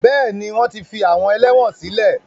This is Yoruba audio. Bẹ́ẹ̀ni, wọ́n ti fi àwọn ẹlẹ́wọn sílẹ̀.